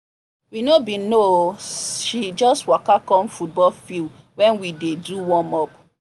we no been know o she just waka come football field when we dey do warmup